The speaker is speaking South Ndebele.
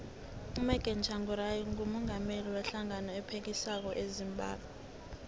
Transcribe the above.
umorgan tshangari ngumungameli we hlangano ephikisako ezimbabwe